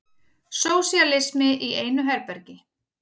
Sósíalismi í einu herbergi.